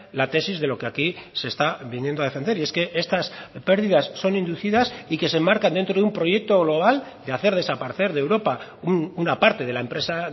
la tesis de lo que aquí se está viniendo a defender y es que estas pérdidas son inducidas y que se enmarcan dentro de un proyecto global de hacer desaparecer de europa una parte de la empresa